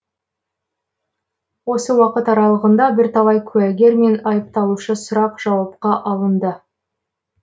осы уақыт аралығында бірталай куәгер мен айыпталушы сұрақ жауапқа алынды